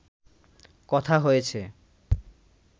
কথা হয়েছে